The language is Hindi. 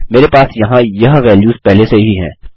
मेरे पास यहाँ यह वैल्यूस पहले से ही हैं